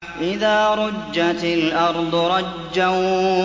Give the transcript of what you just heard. إِذَا رُجَّتِ الْأَرْضُ رَجًّا